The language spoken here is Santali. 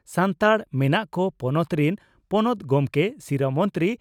ᱥᱟᱱᱛᱟᱲ ᱢᱮᱱᱟᱜ ᱠᱚ ᱯᱚᱱᱚᱛ ᱨᱤᱱ ᱯᱚᱱᱚᱛ ᱜᱚᱢᱠᱮ ᱥᱤᱨᱟᱹ ᱢᱚᱱᱛᱨᱤ